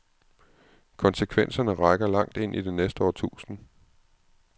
Konsekvenserne rækker langt ind i det næste århundrede.